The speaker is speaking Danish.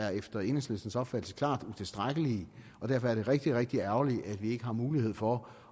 er efter enhedslistens opfattelse klart utilstrækkelige og derfor er det rigtig rigtig ærgerligt at vi ikke har mulighed for